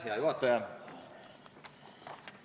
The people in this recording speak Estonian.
Hea juhataja!